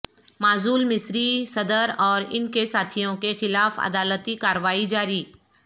معزول مصری صدر اور ان کے ساتھیوں کے خلاف عدالتی کاروائی جاری